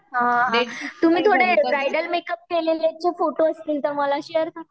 हां तुम्ही थोडे ब्रायडल मेकअप केलेलेचे फोटो असले तर मला शेअर करा.